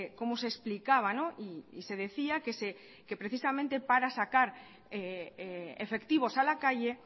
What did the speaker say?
cómo se explicaba y se decía que precisamente para sacar efectivos a la calle